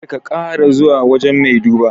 Kar ka kara zuwa wajan mai duba